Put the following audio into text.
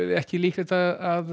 ekki líklegt að